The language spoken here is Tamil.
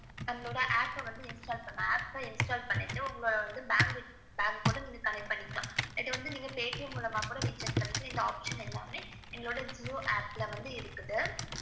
எங்களோட app install பண்ணிட்டு, உங்க bank connect பண்ணிக்கலாம். நீங்க paytm மூலமாவே recharge பண்ணிக்கற இந்த option எல்லாமே இந்த jio APP பில் இருக்குது.